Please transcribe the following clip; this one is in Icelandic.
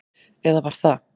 Eða var það?